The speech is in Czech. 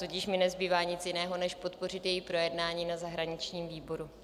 Tudíž mi nezbývá nic jiného, než podpořit její projednání na zahraničním výboru.